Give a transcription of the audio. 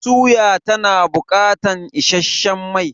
Suya tana bukatar isasshen mai